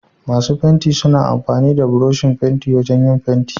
Masu fenti suna amfani da Burushin fentin wajan yin fenti.